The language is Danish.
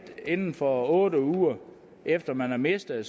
inden for otte uger efter man har mistet det